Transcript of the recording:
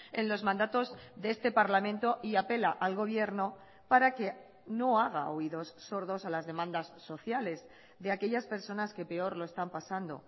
en los mandatos de este parlamento y apela al gobierno para que no haga oídos sordos a las demandas sociales de aquellas personas que peor lo están pasando